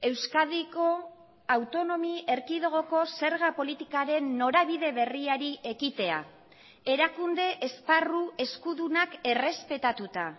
euskadiko autonomi erkidegoko zerga politikaren norabide berriari ekitea erakunde esparru eskudunak errespetatuta